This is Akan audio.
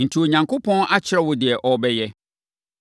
“Enti, Onyankopɔn akyerɛ wo deɛ ɔrebɛyɛ.